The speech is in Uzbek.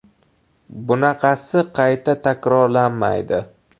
Bunaqasi qayta takrorlanmaydi.